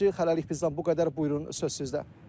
Hələlik bizdən bu qədər, buyurun, söz sizdə.